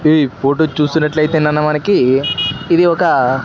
ఈ ఫోటో చూసినట్లయితే నాన్న మనకి ఇది ఒక--